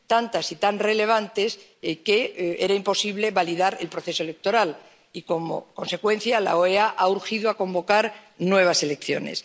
fin, tantas y tan relevantes que era imposible validar el proceso electoral y, como consecuencia, la OEA ha urgido a convocar nuevas elecciones.